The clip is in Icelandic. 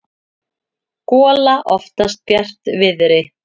gola oftast bjartviðri.